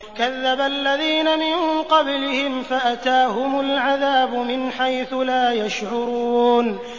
كَذَّبَ الَّذِينَ مِن قَبْلِهِمْ فَأَتَاهُمُ الْعَذَابُ مِنْ حَيْثُ لَا يَشْعُرُونَ